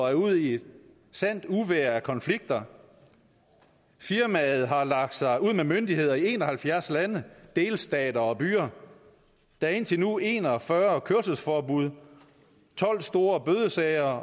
er ude i et sandt uvejr af konflikter firmaet har lagt sig ud med myndigheder i en og halvfjerds lande delstater og byer der er indtil nu en og fyrre kørselsforbud tolv store bødesager og